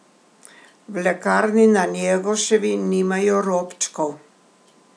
V lekarni na Njegoševi nimajo robčkov!